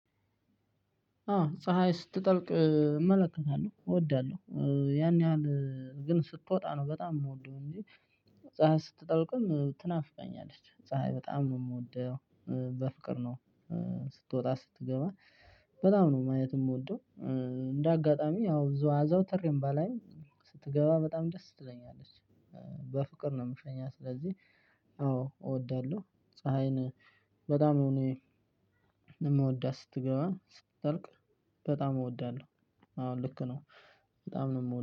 አዎ ፀሀይ ስትጠልቅ እመለከታለሁ እወዳለሁ ያን ያህል ግን ስትወጣ ነው በጣም የምወደው እንጂ። ፀሀይ ስትጠልቅም ትናፍቀኛለች ፀሀይ በጣም የምወደው በፍቅር ነው። ስትወጣ ስትገባ በጣም ነው ማየትም የምወደው። እንደ አጋጣሚ ያው አዘውተሬም ባላይ ስትገባ በጣም ደስ ትለኛለች። በፍቅር ነው የምሸኛት ስለዚህ። አዎ እወዳለሁ ፀሀይን በጣም እኔ የምወዳት ስትገባ ስትጠልቅ በጣም እወዳለሁ። አሁን ልክ ነው በጣም ነው የምወደው